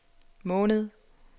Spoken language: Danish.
måned